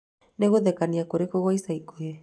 Nĩ ngũthekania kurĩkũ kwa ica ikuhĩ